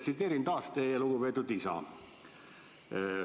Tsiteerin taas teie lugupeetud isa.